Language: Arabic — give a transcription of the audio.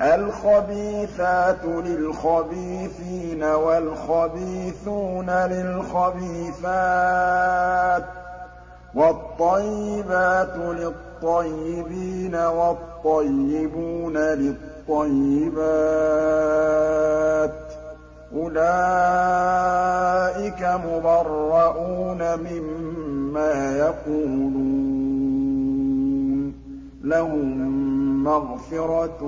الْخَبِيثَاتُ لِلْخَبِيثِينَ وَالْخَبِيثُونَ لِلْخَبِيثَاتِ ۖ وَالطَّيِّبَاتُ لِلطَّيِّبِينَ وَالطَّيِّبُونَ لِلطَّيِّبَاتِ ۚ أُولَٰئِكَ مُبَرَّءُونَ مِمَّا يَقُولُونَ ۖ لَهُم مَّغْفِرَةٌ